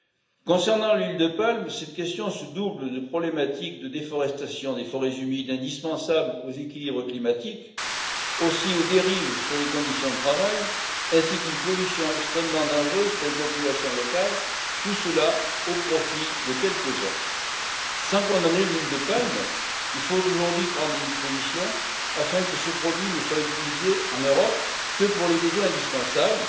Dans le cas de l'huile de palme, cette question se double de problématiques de déforestation des forêts humides indispensables aux équilibres climatiques, de dérives sur les conditions de travail ainsi que d'une pollution extrêmement dangereuse pour les populations locales, tout cela au profit de quelques uns. Sans condamner l'huile de palme, il faut aujourd'hui prendre des dispositions afin que ce produit ne soit utilisé en Europe que pour les besoins indispensables.